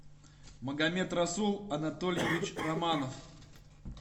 магомед расул анатольевич романов